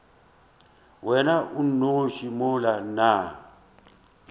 wena o nnoši mola nna